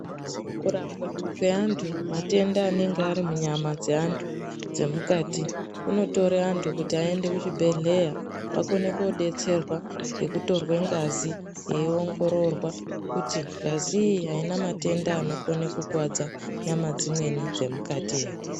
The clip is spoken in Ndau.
Kurapwa kwe antu matenda anenge ari munyama dze antu dze mukati kunotore antu kuti ayende ku chibhedhleya vakone ko detserwa ngeku torwe ngazi eyi ongororwa kuti ngazi iyi aina matenda anokone kukwadza nyama dzimweni dze mukati ere.